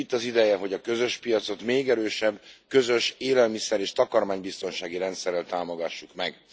Itt az ideje, hogy a közös piacot még erősebb közös élelmiszer és takarmánybiztonsági rendszerrel támogassuk meg.